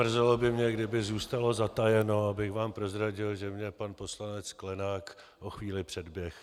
Mrzelo by mne, kdyby zůstalo zatajeno, abych vám prozradil, že mě pan poslanec Sklenák o chvíli předběhl.